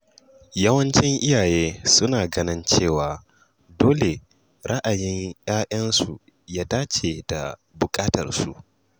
Yawancin iyaye suna ganin cewa dole ra'ayin ‘ya’yansu ya dace da buƙatunsu.